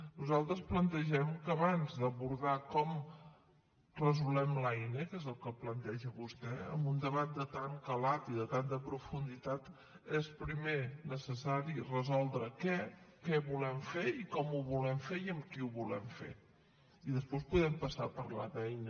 nosaltres plantegem que abans d’abordar com resolem l’eina que és el que planteja vostè amb un debat de tant calat i de tanta profunditat és primer necessari resoldre què què volem fer i com ho volem fer i amb qui ho volem fer i després podem passar a parlar de l’eina